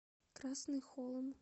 красный холм